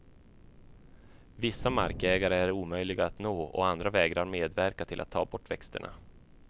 Vissa markägare är omöjliga att nå och andra vägrar medverka till att ta bort växterna.